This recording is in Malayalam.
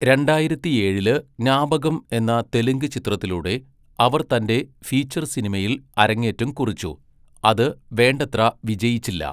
രണ്ടായിരത്തിയേഴില് ജ്ഞാപകം എന്ന തെലുങ്ക് ചിത്രത്തിലൂടെ അവർ തന്റെ ഫീച്ചർ സിനിമയിൽ അരങ്ങേറ്റം കുറിച്ചു, അത് വേണ്ടത്ര വിജയിച്ചില്ല.